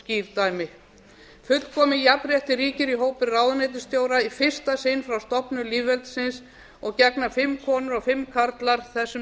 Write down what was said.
skýr dæmi fullkomið jafnrétti ríkir í hópi ráðuneytisstjóra í fyrsta sinn frá stofnun lýðveldisins og gegna fimm konur og fimm karlar þessum